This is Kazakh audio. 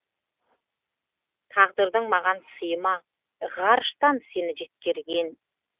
тағдырдың маған сыйы ма ғарыштан сені жеткерген